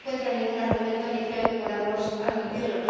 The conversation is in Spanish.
Yo no encuentro ningún argumento, ni creo que podamos admitirlo.